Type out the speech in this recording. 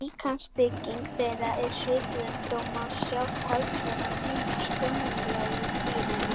Líkamsbygging þeirra er svipuð en þó má sjá talsverðan mun á sköpulagi dýranna.